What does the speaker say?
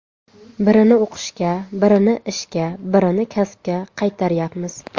Birini o‘qishga, birini ishga, birini kasbga qaytaryapmiz.